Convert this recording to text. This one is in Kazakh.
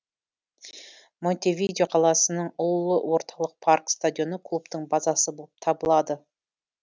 монтевидео қаласының ұлы орталық парк стадионы клубтың базасы болып табылады